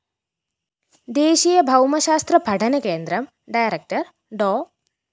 ദേശീയ ഭൗമശാസ്ത്ര പഠനകേന്ദ്രം ഡയറക്ടർ ഡോ